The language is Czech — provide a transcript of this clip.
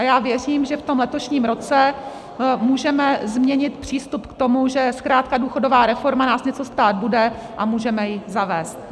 A já věřím, že v tom letošním roce můžeme změnit přístup k tomu, že zkrátka důchodová reforma nás něco stát bude, a můžeme ji zavést.